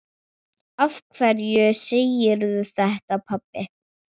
Af hverju segirðu þetta, pabbi?